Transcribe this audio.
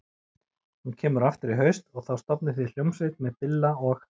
Hún kemur aftur í haust og þá stofnið þið hljómsveit með Billa og